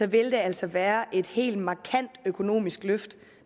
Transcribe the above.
vil det altså være et helt markant økonomisk løft